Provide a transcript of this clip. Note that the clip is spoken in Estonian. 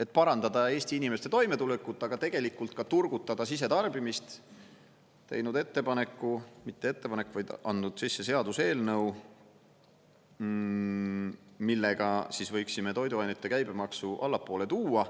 et parandada Eesti inimeste toimetulekut, aga tegelikult ka turgutada sisetarbimist, teinud ettepaneku, mitte ettepaneku, vaid andnud sisse seaduseelnõu, millega siis võiksime toiduainete käibemaksu allapoole tuua.